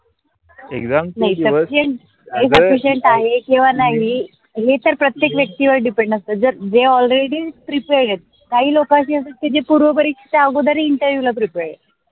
exam चे दिवस हे तर प्रत्येक व्यक्तीवर depend असते. जे all ready prepared हय काही लोकांची अस जे पूर्व परीक्षा च्या अगोदरही interview prepared आहेत